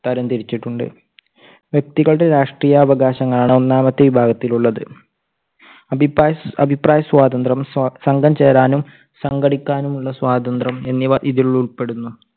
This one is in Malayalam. തരംതിരിച്ചിട്ടുണ്ട്. വ്യക്തികളുടെ രാഷ്ട്രീയ അവകാശങ്ങളാണ് ഒന്നാമത്തെ വിഭാഗത്തിൽ ഉള്ളത്. അഭിപ്രായ~അഭിപ്രായസ്വാതന്ത്ര്യം, സംഘം ചേരാനും സംഘടിക്കാനുള്ള സ്വാതന്ത്ര്യം എന്നിവ ഇതിൽ ഉൾപ്പെടുന്നു.